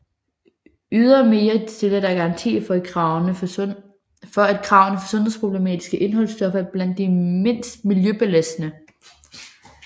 Ydermere stille der garanti for at kravene for sundhedsproblematiske indholdstoffer er blandt de mindst miljøbelastende